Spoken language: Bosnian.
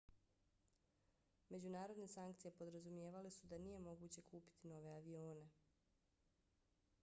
međunarodne sankcije podrazumijevale su da nije moguće kupiti nove avione